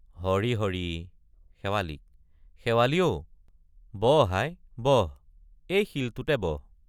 হৰি হৰি শেৱালিক শেৱালি অ বহ আই বহ এই শিলটোতে বহ।